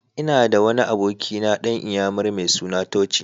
Ina da wani abokina dan iyammari mai suna Tochi.